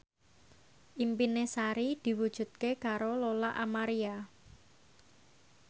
impine Sari diwujudke karo Lola Amaria